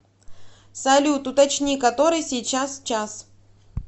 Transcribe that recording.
салют уточни который сейчас час